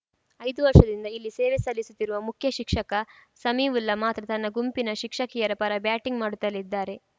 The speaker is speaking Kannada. ಐದು ವರ್ಷದಿಂದ ಇಲ್ಲಿ ಸೇವೆ ಸಲ್ಲಿಸುತ್ತಿರುವ ಮುಖ್ಯ ಶಿಕ್ಷಕ ಸಮೀವುಲ್ಲಾ ಮಾತ್ರ ತನ್ನ ಗುಂಪಿನ ಶಿಕ್ಷಕಿಯರ ಪರ ಬ್ಯಾಟಿಂಗ್‌ ಮಾಡುತ್ತಲೇ ಇದ್ದಾರೆ